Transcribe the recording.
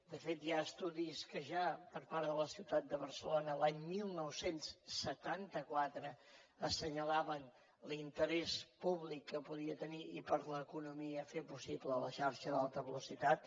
de fet hi ha estudis que ja per part de la ciutat de barcelona l’any dinou setanta quatre assenyalaven l’interès públic que podia tenir i per a l’economia fer possible la xarxa de l’alta velocitat